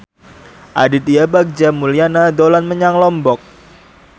Aditya Bagja Mulyana dolan menyang Lombok